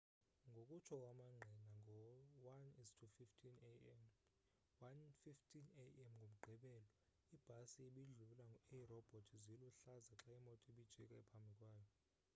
ngokutsho kwamangqina ngo-1:15 a.m. ngomgqibelo ibhasi ibidlula iirobhoti ziluhlaza xa imoto ibijika phambi kwayo